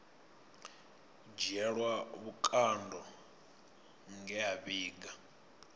dzhielwa vhukando nge a vhiga